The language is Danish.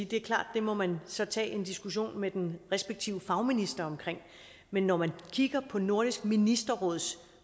det er klart at det må man så tage en diskussion med den respektive fagminister om men når man kigger på nordisk ministerråds